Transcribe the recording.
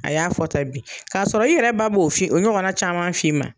A y'a fɔ tan bi k'a sɔrɔ i yɛrɛ ba b'o fi ɲɔgɔnna caman f'i ma.